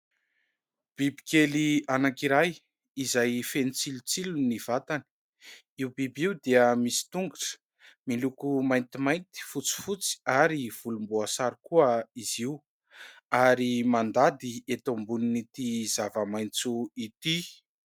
Bibikely anankiray izay feno tsilotsilo ny vatany. Io biby io dia misy tongotra miloko maintimainty, fotsifotsy ary volomboasary koa izy io ary mandady eto ambonin'ity zava-maitso ity.